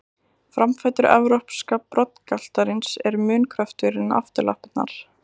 Framfætur evrópska broddgaltarins eru mun kröftugri en afturlappirnar.